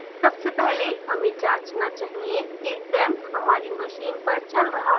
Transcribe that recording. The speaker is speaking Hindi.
सबसे पहले हमें जाँचना चाहिए कि xampp हमारी machine पर चल रहा है